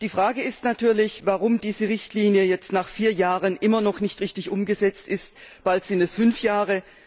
Die Frage ist natürlich, warum diese Richtlinie nach vier Jahren immer noch nicht richtig umgesetzt ist, bald sind es sogar fünf Jahre.